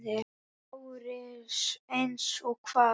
LÁRUS: Eins og hvað?